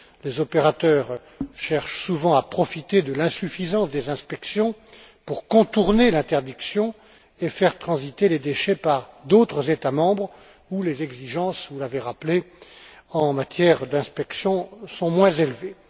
Les opérateurs cherchent souvent à profiter de l'insuffisance des inspections pour contourner l'interdiction et faire transiter les déchets par d'autres États membres où les exigences en matière d'inspection vous l'avez rappelé sont moins élevées.